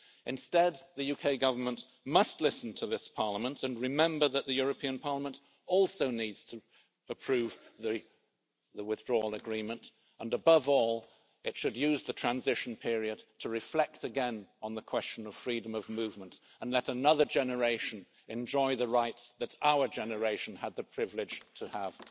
Instead, the UK Government must listen to this Parliament and remember that the European Parliament also needs to approve the Withdrawal Agreement and, above all, it should use the transition period to reflect again on the question of freedom of movement and let another generation enjoy the rights that our generation had the privilege to have.